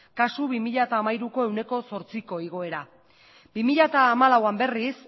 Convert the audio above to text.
kasu bi mila hiruko ehuneko zortziko igoera bi mila hamalauean berriz